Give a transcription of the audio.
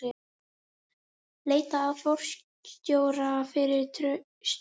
Leita að forstjóra fyrir Straum